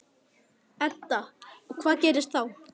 Edda: Og hvað gerist þá?